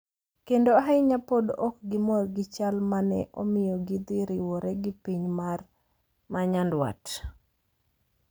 kendo ahinya pod ok gimor gi chal ma ne omiyo gidhi riwore gi piny ma nyandwat .